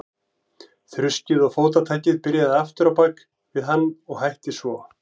Þruskið og fótatakið byrjaði aftur á bak við hann og hætti svo.